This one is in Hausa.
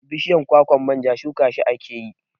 Bishiyan kwakwan manja shuka shi akeyi